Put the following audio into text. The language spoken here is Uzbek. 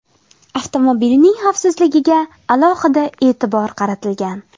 Avtomobilning xavfsizligiga alohida e’tibor qaratilgan.